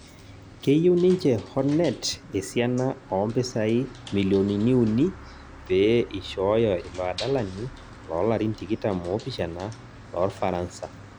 keyieu ninche Hornet esiana ompisai milionini uni pe ishooyo ilo adalani loo larin tikitam opishana lorfaransa